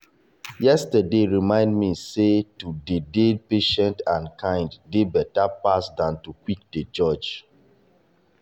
yesterday remind me sey to dey-dey patient and kind dey better than to quick dey judge.